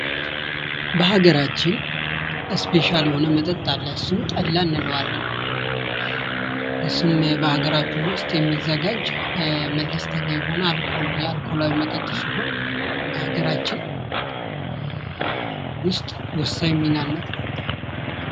በሀገራችን ስፔሻል የሆነ መጠጥ አለ እሱም ጠላ እንለዋለን ። እሱም በሀገራችን ውስጥ የሚዘጋጅ መለስተኛ የሆነ የአልኮል መጠጥ ሲሆን በሀገራችን ውስጥ ወሳኝ ሚና እና ትኩረት ያለው